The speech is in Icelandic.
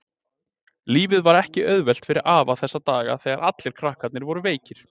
Lífið var ekki auðvelt fyrir afa þessa daga þegar allir krakkarnir voru veikir.